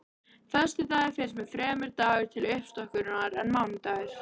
Föstudagur finnst mér fremur dagur til uppstokkunar en mánudagur.